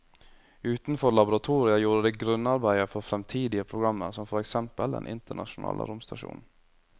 Utenfor laboratoriet gjorde de grunnarbeidet for fremtidige programmer som for eksempel den internasjonale romstasjonen.